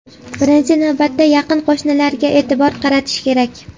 Birinchi navbatda yaqin qo‘shnilarga e’tibor qaratish kerak.